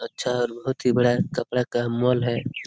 अच्छा और बहुत ही बड़ा कपड़ा का मॉल है।